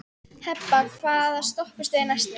Hebba, hvaða stoppistöð er næst mér?